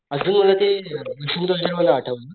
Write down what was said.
अजून मला ते आठवलं,